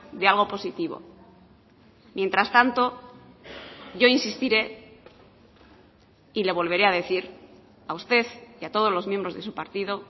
de algo positivo mientras tanto yo insistiré y le volveré a decir a usted y a todos los miembros de su partido